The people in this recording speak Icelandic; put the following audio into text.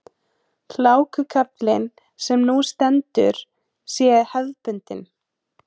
Hlákukaflinn sem nú stendur sé hefðbundinn